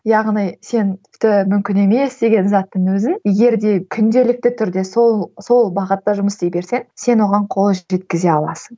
яғни сен тіпті мүмкін емес деген заттың өзін егер де күнделікті түрде сол сол бағытта жұмыс істей берсең сен оған қол жеткізе аласың